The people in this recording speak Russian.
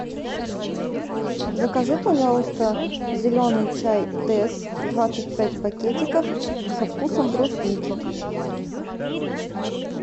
закажи пожалуйста зеленый чай тесс двадцать пять пакетиков со вкусом брусники